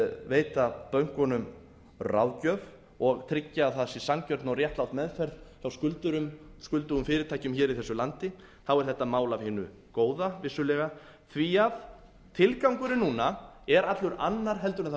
veita bönkunum ráðgjöf og tryggja að það sé sanngjörn og réttlát meðferð hjá skuldurum skuldugum fyrirtækjum hér í þessu landi þá er þetta mál af hinu góða vissulega því tilgangurinn núna er allur annar heldur en það